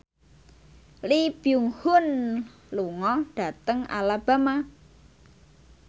Lee Byung Hun lunga dhateng Alabama